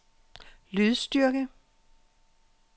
lydstyrke